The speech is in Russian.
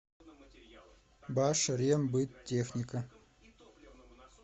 башрембыттехника